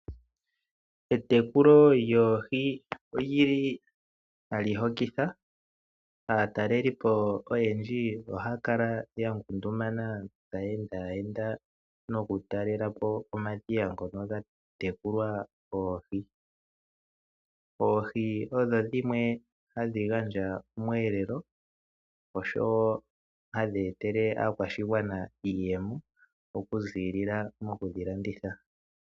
Etekulo lyoohi oli li hali hokitha. Aatalelipo oyendji ohaya kala ya ngundumana taya enda enda nokutalela po omadhiya ngono ga tekulwa oohi. Oohi odho dhimwe hadhi gandja omweelelo oshowo hadhi etele aakwashigwana iiyemo okuziilila mokudhi landitha.